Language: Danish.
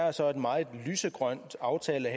er så en meget lysegrøn aftale